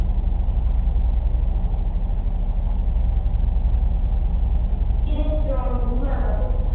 ਕਿੰਨੀ strong women ਐ ਤੂੰ